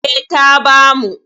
E, ta bamu.